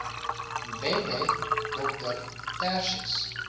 mbethe dr tertius